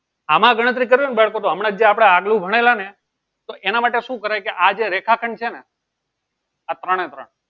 આમાં ગણતરી કરવી હોય બાળકો તો હમણાં જે આપડે આગલુ ભણેલા ને તો એના માટે શું કરે કે આજે રેખાખંડ છે ને આ ત્રણે ત્રણ